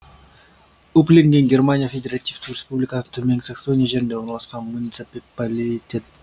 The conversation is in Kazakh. упленген германия федеративтік республика төменгі саксония жерінде орналасқан муниципалитет